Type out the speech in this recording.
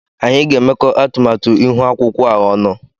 Anyị ga-emekọ atụmatụ ihu akwụkwọ a ọnụ.